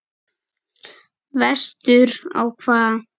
Vestur á hvað?